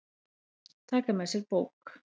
Taka með sér bók.